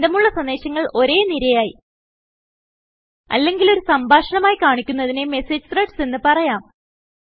ബന്ധമുള്ള സന്ദേശങ്ങൾ ഒരേ നിരയായി അല്ലെങ്കിൽ ഒരു സംഭാഷണമായി കാണിക്കുന്നതിനെMessage ത്രെഡ്സ് എന്ന് പറയാം